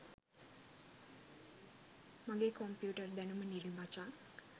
මගේ කොම්පියුටර් දැනුම නිල් මචං